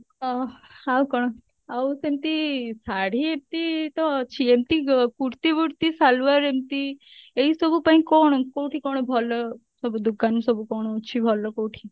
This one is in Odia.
ଓ ଆଉ କଣ ଆଉ କେମତି ଶାଢୀ ଏମତି ତ ଅଛି ଏମତି kurti ବୁର୍ତି salwar ଏମତି ଏଇ ସବୁ ପାଇଁ କଣ କଉଠି କଣ ଭଲ ସବୁ ଦୁକାନ ସବୁ କଣ ଅଛି ଭଲ କଉଠି?